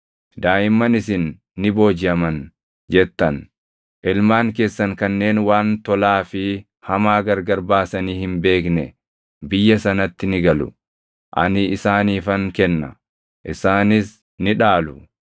Daaʼimman isin ni boojiʼaman jettan, ilmaan keessan kanneen waan tolaa fi hamaa gargar baasanii hin beekne biyya sanatti ni galu. Ani isaaniifan kenna; isaanis ni dhaalu.